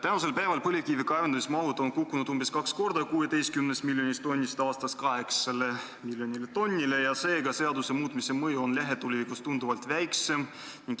Tänaseks päevaks on põlevkivi kaevandamise mahud kukkunud umbes kaks korda, 16 miljonist tonnist aastas 8 miljonile tonnile, seega on seaduse muutmise mõju lähitulevikus tunduvalt väiksem.